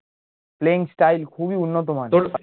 playing style খুবই উন্নত মানের